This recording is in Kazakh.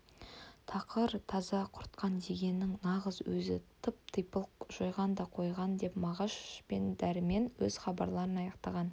тақыр-таза құртқан дегеннің нағыз өзі тып-типыл жойған да қойған деп мағаш пен дәрмен өз хабарларын аяқтаған